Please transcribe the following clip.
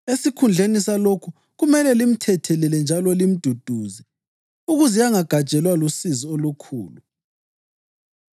Esikhundleni salokhu, kumele limthethelele njalo limduduze, ukuze angagajelwa lusizi olukhulu.